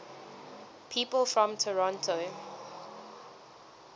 people from toronto